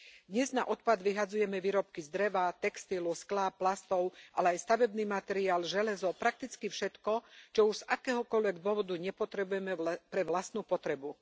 Dnes na odpad vyhadzujeme výrobky z dreva, textilu, skla, plastov, ale aj stavebný materiál, železo, prakticky všetko, čo už z akéhokoľvek dôvodu nepotrebujeme pre vlastnú potrebu.